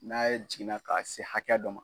N'a ye jiginna k'a se hakɛ dɔ ma.